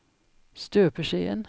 støpeskjeen